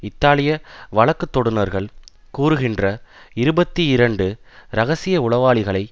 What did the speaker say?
இத்தாலிய வழக்குதொடுனர்கள் கூறுகின்ற இருபத்தி இரண்டு இரகசிய உளவாளிகளை